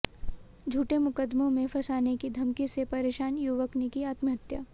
झूठे मुकदमे में फंसाने की धमकी से परेशान युवक ने की आत्महत्या